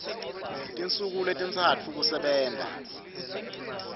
tinsuku letintsatfu kusebenta